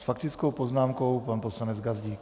S faktickou poznámkou pan poslanec Gazdík.